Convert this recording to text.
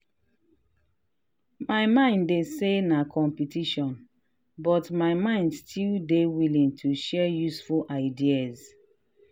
my mind dey say na competition but my mind still dey willing to share useful ideas.